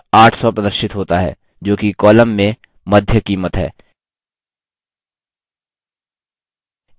उत्तर 800 प्रदर्शित होता है जोकि column में मध्य कीमत है